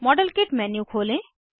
model kit menu खोलें